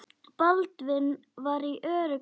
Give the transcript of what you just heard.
Baldvin var í öruggum höndum.